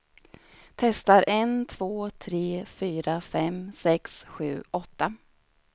Testar en två tre fyra fem sex sju åtta.